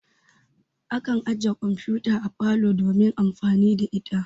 Akan ajiye kamfuta a parlor domin amfani da ita.